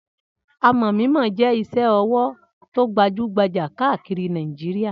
Amọ̀ mímọ jẹ́ iṣẹ́-ọwọ́ tó gbajú-gbajà káàkiri Nàìjíríà.